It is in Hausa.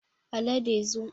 Alade zo